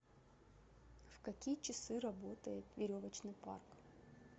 в какие часы работает веревочный парк